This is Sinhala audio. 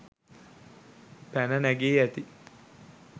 පැන නැගී ඇති